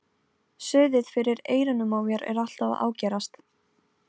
Suðið fyrir eyrunum á mér er alltaf að ágerast.